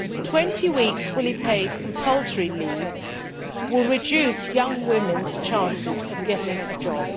Twenty weeks' fully paid compulsory leave will reduce young women's chances of getting a job.